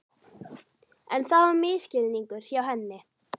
En það var misskilningur hjá henni.